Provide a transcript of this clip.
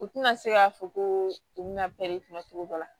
U tɛna se k'a fɔ ko u bɛna cogo dɔ la